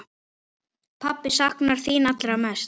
Pabbi saknar þín allra mest.